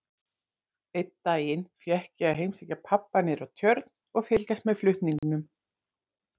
Einn daginn fékk ég að heimsækja pabba niðrá Tjörn og fylgjast með flutningunum.